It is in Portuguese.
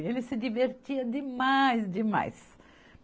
Ele se divertia demais, demais.